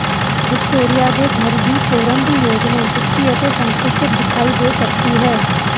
Victoria ਦੇ ਘਰ ਦੀ ਫੋਰਮ ਦੀ ਯੋਜਨਾ ਜੁੱਤੀ ਅਤੇ ਸੰਕੁਚਿਤ ਦਿਖਾਈ ਦੇ ਸਕਦੀ ਹੈ